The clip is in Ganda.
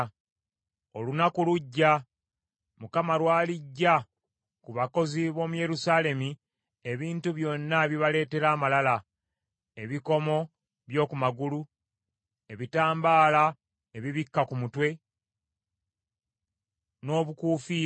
Olunaku lujja Mukama lwaliggya ku bakazi b’omu Yerusaalemi ebintu byonna ebibaleetera amalala, ebikomo by’oku magulu, ebitambaala ebibikka ku mitwe, n’obukuufiira,